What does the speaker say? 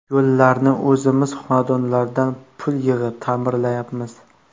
Yo‘llarni o‘zimiz xonadonlardan pul yig‘ib, ta’mirlayapmiz.